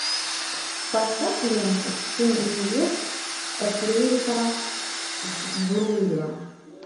поставь ленту семь невест ефрейтора сбруева